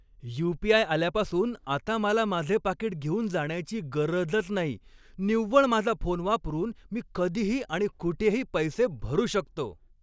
You. P. I. आल्यापासून आता मला माझे पाकीट घेऊन जाण्याची गरजच नाही. निव्वळ माझा फोन वापरून मी कधीही आणि कुठेही पैसे भरू शकतो.